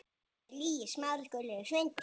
Við áttum svo margt ógert.